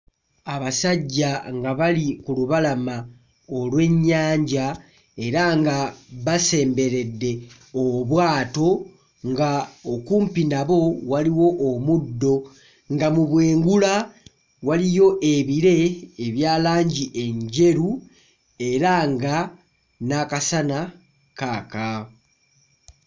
Abasajja nga bali ku lubalama olw'ennyanja era nga basemberedde obwato nga okumpi nabo waliwo omuddo nga mu bwengula waliyo ebire ebya langi enjeru era nga n'akasana kaaka.